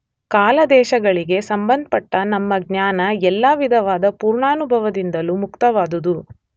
ಕಾಲದೇಶಗಳಿಗೆ ಸಂಬಂಧಪಟ್ಟ ನಮ್ಮ ಜ್ಞಾನ ಎಲ್ಲ ವಿಧವಾದ ಪುರ್ವಾನುಭವದಿಂದಲೂ ಮುಕ್ತವಾದುದು.